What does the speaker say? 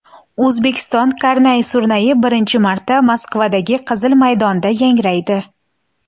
O‘zbekiston karnay-surnayi birinchi marta Moskvadagi Qizil maydonda yangraydi .